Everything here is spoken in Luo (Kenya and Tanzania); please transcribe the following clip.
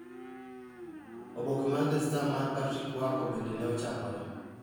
Oboke mar The Star mar Patrick Quarcoo bende ne ochakore.